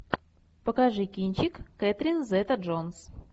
покажи кинчик кэтрин зета джонс